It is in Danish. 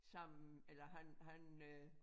Sammen eller han han øh